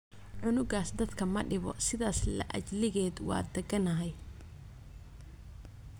Cunugas dadhka madibo sidhas la ajliged waa dakanyhy.